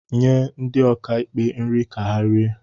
nye ndi okaikpé nri ka ha rie